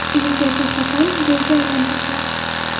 Uni Jasur Hasanov golga aylantirdi.